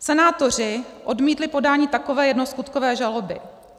Senátoři odmítli podání takové jednoskutkové žaloby.